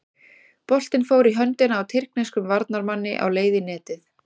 Boltinn fór í höndina á tyrkneskum varnarmanni á leið í netið.